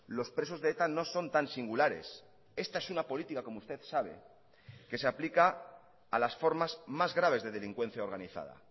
los presos de eta no son tan singulares esta es una política como usted sabe que se aplica a las formas más graves de delincuencia organizada